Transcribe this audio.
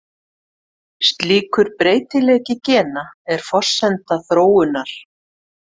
Slíkur breytileiki gena er forsenda þróunar.